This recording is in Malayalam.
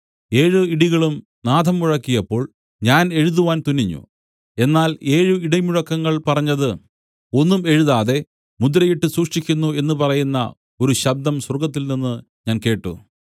ഏഴ് ഇടികളും നാദം മുഴക്കിയപ്പോൾ ഞാൻ എഴുതുവാൻ തുനിഞ്ഞു എന്നാൽ ഏഴ് ഇടിമുഴക്കങ്ങൾ പറഞ്ഞത് ഒന്നും എഴുതാതെ മുദ്രയിട്ട് സൂക്ഷിക്കുന്നു എന്ന് പറയുന്ന ഒരു ശബ്ദം സ്വർഗ്ഗത്തിൽനിന്ന് ഞാൻ കേട്ട്